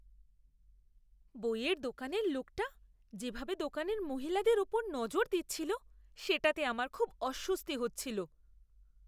বইয়ের দোকানের লোকটা যেভাবে দোকানের মহিলাদের ওপর নজর দিচ্ছিল, সেটাতে আমার খুব অস্বস্তি হচ্ছিল।